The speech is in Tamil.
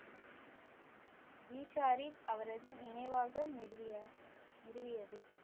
ஈஷாரி அவரது நினைவாக நிறுவிய~ நிறுவியது